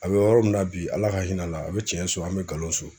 A bɛ yɔrɔ min na bi Ala ka hin'a la a be tiɲɛ so an' be galon so.